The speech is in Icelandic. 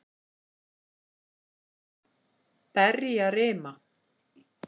Berjarima